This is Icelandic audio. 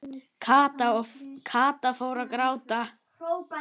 Kata og fór að gráta.